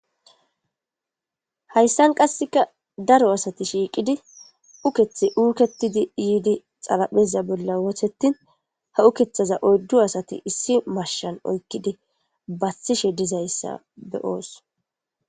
Hayssan qasseka daro asati shiiqidi ukethi uuketidi yiidi xalapheza bolla wothettin ha ukethaza oyddu asati issi mashan oykkidi batishe dizayssa beyoos